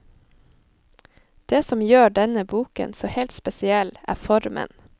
Det som gjør denne boken så helt spesiell, er formen.